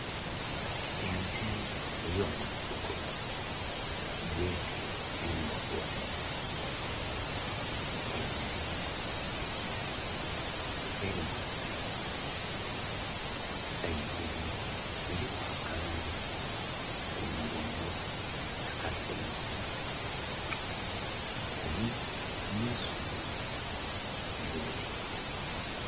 Ente ey'omunsiko gyete embogo, eyemeleile elinze saidi enho, eliku akanhonhi ku mugongo akaseente, eli mu isubi elibitirivu.